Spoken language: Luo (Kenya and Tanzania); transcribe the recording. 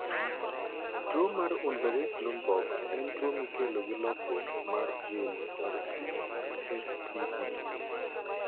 Tuwo mar Unverricht Lundborg en tuwo mikelo gi lokruok mar gene mar CSTB.